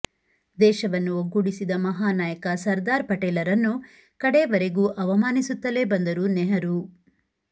ದೇಶವನ್ನು ಒಗ್ಗೂಡಿಸಿದ ಮಹಾನಾಯಕ ಸರ್ದಾರ್ ಪಟೇಲರನ್ನು ಕಡೆವರೆಗೂ ಅವಮಾನಿಸುತ್ತಲೆ ಬಂದರು ನೆಹರೂ